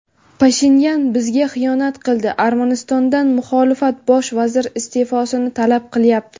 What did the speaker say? Pashinyan bizga xiyonat qildi – Armanistonda muxolifat Bosh vazir iste’fosini talab qilyapti.